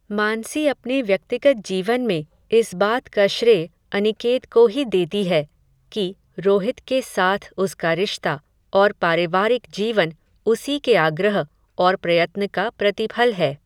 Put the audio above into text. मानसी अपने व्यक्तिगत जीवन में, इस बात का श्रेय, अनिकेत को ही देती है, कि, रोहित के साथ उसका रिश्ता, और पारिवारिक जीवन, उसी के आग्रह, और प्रयत्न का, प्रतिफल है